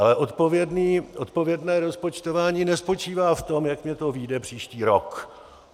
Ale odpovědné rozpočtování nespočívá v tom, jak mi to vyjde příští rok.